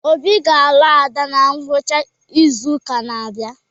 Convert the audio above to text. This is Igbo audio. Obi ga-alụ Ada na ngwụcha izu ụka na-abịa